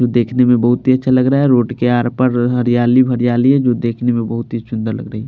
जो देखने में बहुत ही अच्छा लग रहा है रोड के आरपार हरियाली ही हरियाली है जो देखने में बहुत ही सुन्दर लग रही।